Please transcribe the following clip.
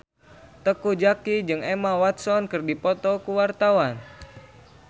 Teuku Zacky jeung Emma Watson keur dipoto ku wartawan